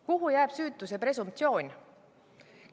Kuhu jääb süütuse presumptsioon?